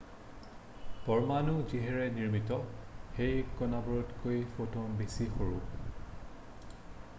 পৰমাণু যিহেৰে নিৰ্মিত সেই কণাবোৰতকৈ ফটন বেছি সৰু